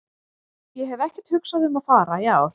Ég hef ekkert hugsað um að fara í ár.